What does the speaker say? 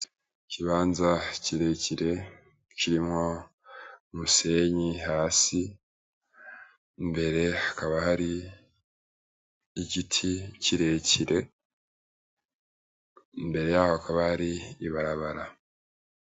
Ikibanza kirekire kirimwo umusenyi hasi imbere hakaba hari igiti kirekire imbere yaho hakaba hari ibarabara